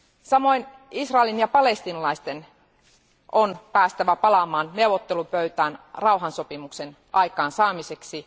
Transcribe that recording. Samoin Israelin ja palestiinalaisten on päästävä palaamaan neuvottelupöytään rauhansopimuksen aikaansaamiseksi.